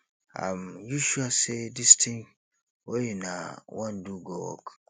um you sure say dis thing wey una wan do go work